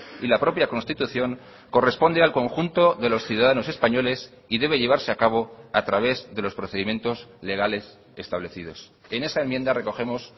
y la propia constitución corresponde al conjunto de los ciudadanos españoles y debe llevarse a cabo a través de los procedimientos legales establecidos en esa enmienda recogemos